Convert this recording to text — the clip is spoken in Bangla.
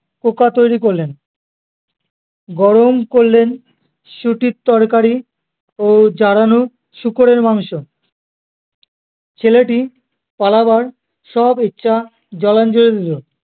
তৈরী করলেন গরম করলেন শুটির তরকারি ও জ্বালানো শূকরের মাংস ছেলেটি পালাবার সব ইচ্ছা জলাঞ্জলি দিলো